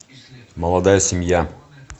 молодая семья